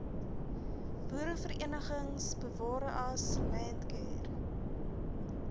boereverenigings bewareas landcare